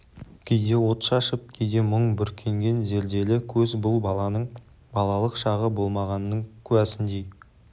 кейде от шашып кейде мұң бүркенген зерделі көз бұл баланың балалық шағы болмағанының куәсіндей